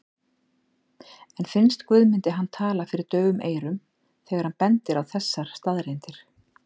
En finnst Guðmundi hann tala fyrir daufum eyrum þegar hann bendir á þessar staðreyndir?